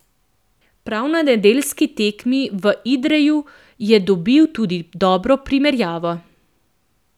Prav na nedeljski tekmi v Idreju je dobil tudi dobro primerjavo.